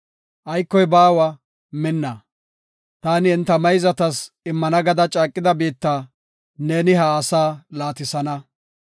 Aykoy baawa minna. Taani enta mayzatas immana gada caaqida biitta neeni ha asaa laatisana.